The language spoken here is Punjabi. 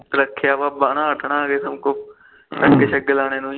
ਰੱਖਿਆਵਾ ਪਾਗ ਸ਼ੈਗ ਲਾਣੇ ਨੂੰ ਹੀ